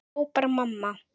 hrópar mamma.